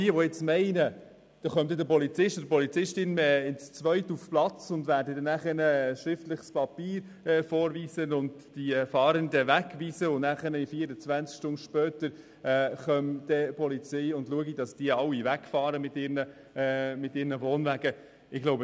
Man soll nicht meinen, dass die Polizei zu zweit auf einen Platz geht, ein schriftliches Papier aushändigt, die Fahrenden wegweist und 24 Stunden später schaut, dass alle mit den Wohnwagen wegfahren.